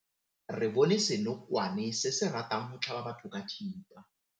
Re bone senokwane se se ratang go tlhaba batho ka thipa.